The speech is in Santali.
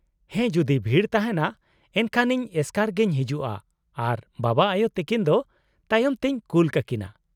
-ᱦᱮᱸ, ᱡᱩᱫᱤ ᱵᱷᱤᱲ ᱛᱟᱦᱮᱸᱱᱟ ᱮᱱᱠᱷᱟᱱ ᱤᱧ ᱮᱥᱠᱟᱨ ᱜᱮᱧ ᱦᱤᱡᱩᱜᱼᱟ, ᱟᱨ ᱵᱟᱵᱟᱼᱟᱭᱳ ᱛᱟᱹᱠᱤᱱ ᱫᱚ ᱛᱟᱭᱚᱢ ᱛᱮᱧ ᱠᱩᱞ ᱠᱟᱠᱤᱱᱟ ᱾